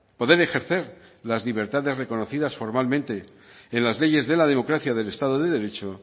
poder ejercer las libertades reconocidas formalmente en las leyes de democracia del estado de derecho